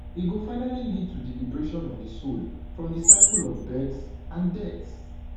e go finally lead to liberation of di soul from di cycle of births and deaths